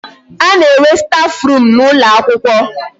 A na-enwe staf room n'ụlọ akwụkwọ.